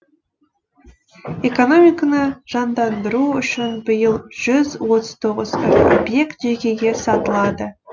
экономиканы жандандыру үшін биыл жүз отыз тоғыз ірі объект жекеге сатылады